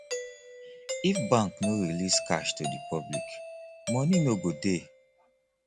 if bank no release cash to the public money no go dey